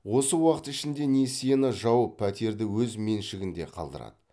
осы уақыт ішінде несиені жауып пәтерді өз меншігінде қалдырады